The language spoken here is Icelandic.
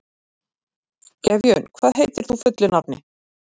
Gefjun, hvað heitir þú fullu nafni?